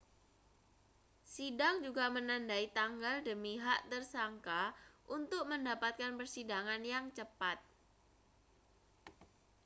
sidang juga menandai tanggal demi hak tersangka untuk mendapatkan persidangan yang cepat